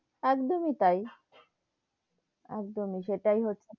একদমই তাই, একদমই সেটাই হচ্ছে,